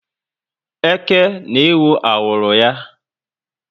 Eke na ewó awuru ya